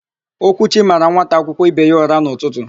Okwuchi mara nwata akwụkwọ ibe ya ụra n'ụtụtụ.